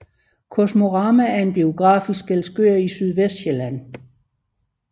Kosmorama er en biograf i Skælskør i Sydvestsjælland